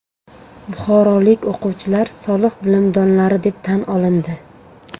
Buxorolik o‘quvchilar soliq bilimdonlari deb tan olindi.